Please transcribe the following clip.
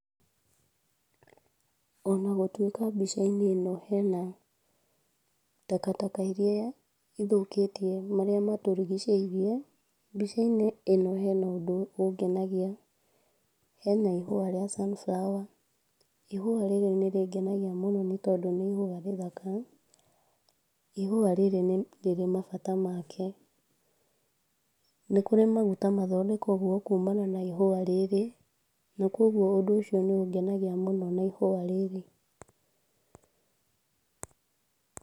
Ona gũtwĩka mbica-inĩ ĩno hena ,takataka iria cithũkĩtie marĩa matũrigicĩirie, mbica-inĩ ĩno hena ũndũ ũngenagia , hena ihua rĩa sunflower , ihua rĩrĩ nĩrĩngenagia mũno nĩ tondũ nĩ ihua rĩthaka, ihua rĩrĩ nĩ rĩrĩ mabata make, nĩkũrĩ maguta mathondekagwo kuma ihua rĩrĩ, na kũgwo ũndũ ũcio nĩ ũngenagia mũno na ihua rĩrĩ.